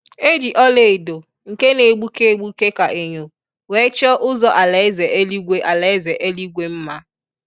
E ji ọla edo nke n'egbuke egbuke ka enyo wee chọọ ụzọ alaeze eluigwe alaeze eluigwe nma.